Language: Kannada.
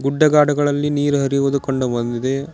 ಗುಡ್ಡಗಾಡುಗಳಲ್ಲಿ ನೀರು ಹರಿಯುವುದು ಕಂಡು ಬಂದಿದೆ.